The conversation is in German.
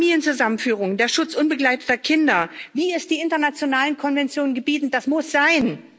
Familienzusammenführung, der Schutz unbegleiteter Kinder, wie es die internationalen Konventionen gebieten das muss sein!